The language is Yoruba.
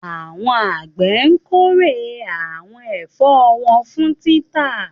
Àwọn àgbẹ̀ kórè àwọn ẹ̀fọ́ wọn fún títà.